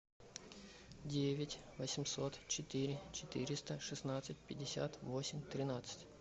девять восемьсот четыре четыреста шестнадцать пятьдесят восемь тринадцать